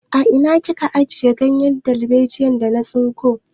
A ina kika ajiye ganyen dalbejiyar da na tsinko?